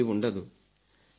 అవినీతి ఉండదు